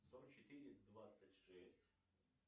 сорок четыре двадцать шесть